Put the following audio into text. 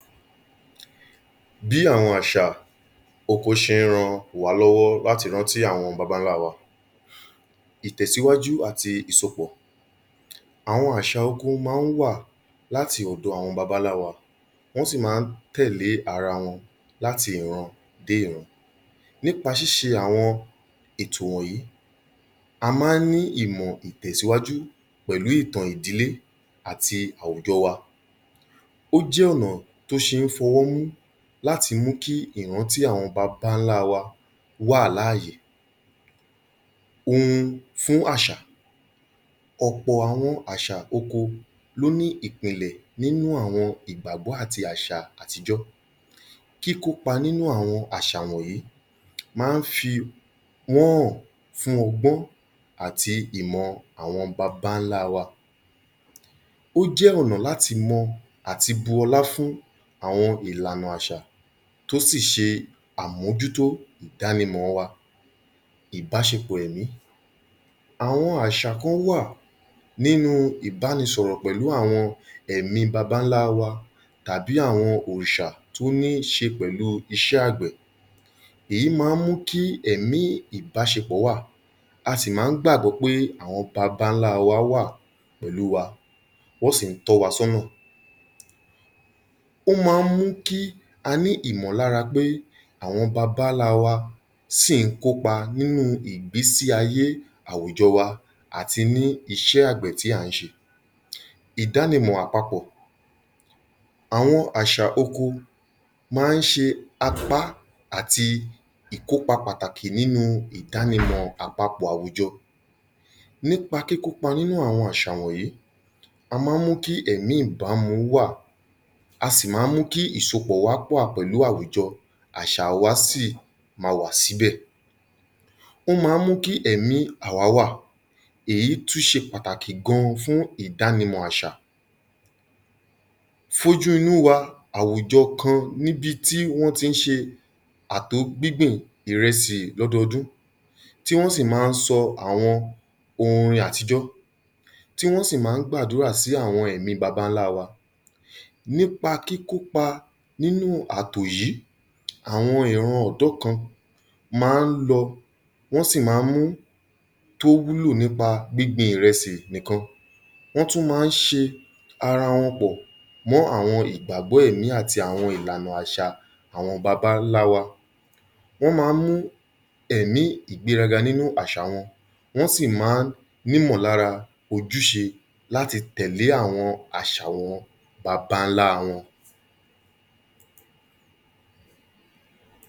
Bí àwọn àṣà oko ṣe ń ran wá lówó láti rántí àwọn baba ńla wa. Ìtẹ̀síwájú àti ìsopọ̀. Àwọn àṣà oko máa ń wà láti ọ̀dọ̀ àwọn baba ńlá wa, wọ́n sì máa ń tẹ̀lé ara wọn láti ìran dé ìran. Nípa ṣíṣe àwọn ètò wọ̀nyìí, a máa ń ní ìmọ̀ ìtẹ̀síwájú pẹ̀lú ìtàn ìdílé àti àwùjọ wa. Ó jẹ́ ọ̀nà tó ṣe é fọwọ́mú láti mú kí ìràntí àwọn baba ńlá wá wà láàyè. Ohun fún àṣà, ọ̀pọ̀ àwọn àṣà oko ló ní ìpìnlẹ̀ nínú àwọn ìgbàgbọ́ àti àṣà àtijọ́. Kíkópa nínú àwọn àṣà wọ̀nyìí máa ń fi wọ́n hàn fún ọgbọ́n àti ìmọ̀ àwọn baba ńlá wa. Ó jẹ́ ọ̀nà làti mọ àti bu ọlá fún àwọn ìlànà àṣà tó sì ṣe àmójútó ìdànimọ̀ wa. Ìbáṣepọ̀ ẹ̀mí, àwọn àṣà kán wà nínu ìbánisọ̀rọ̀ pẹ̀lú àwọn ẹ̀mí baba ńlá wa tàbí àwọn òòṣà tó níṣe pẹ̀lú iṣẹ́ àgbẹ̀. Èyí máa ń mú kí ẹ̀mí ìbáṣepọ̀ wà, a sì máa ń gbàgbọ́ pé àwọn baba ńlá wá wà pẹ̀lú wa, wọ́n sì ń tọ́ wa sọ́nà. Ó máa ń mú kí a ní ìmọ̀lára pé àwọn baba ńlá wa sì ń kópa nínú ìgbésí ayé àwùjọ wa àti ní iṣẹ́ àgbẹ̀ tí à ń ṣe. Ìdánimọ̀ àpapọ̀. Àwọn àṣà oko máa ń ṣe apá àti ìkópa pàtàkì nínú ìdánimọ̀ àpapọ̀ àwùjọ. Nípa kíkópa nínù àwọn àṣà wọ̀nyìí, a máa ń mú kí ẹ̀mí ìbámu wà, a sì máa ń mú kí ìsopọ̀ wá wà pẹ̀lú àwùjọ, àṣà wa sì ma wà síbẹ̀. Ó máa ń mú kí ẹ̀mí àwá wà. Èyí tú ṣe pàtàkì gan an fún ìdánimọ̀ àṣà. Foju inú wa àwùjọ kan níbi tí wọ́n ti ń ṣe àtò gbíngbìn ìrẹsì lọ́dọọdún tí wọ́n sì máa ń sọ àwọn orin àtijọ́, tí wọ́n sì máa ń gbàdúrà sí àwọn ẹ̀mí baba ńlá wa. Nípa kíkópa nínú àtò yìí, àwọn ìran ọ̀dọ́ kan ma ń lọ, wọ́n sì ma mú tó wúlò nípa gbíngbin ìrẹsì nìkan. Wọ́n tú ma ń ṣe ara wọn pọ̀ mọ́ àwọn ìgbàgbọ́ ẹ̀mí àti àwọn ìlànà àṣà àwọn baba ńlá wa. Wọ́n máa ń mú ẹ̀mí ìgbéraga nínú àṣà wọn, wọ́n sì máa ń nímọ̀lára ojúṣe láti tẹ̀lé àwọn àṣà àwọn baba ńlá wọn.